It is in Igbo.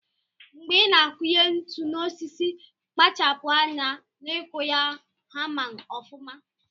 Mgbe ina akunye ntu na osisi kpachapu anya n'ikụ ya hama ọfuma.